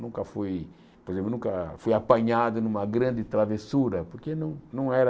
Nunca fui por exemplo nunca fui apanhado numa grande travessura, porque não não era...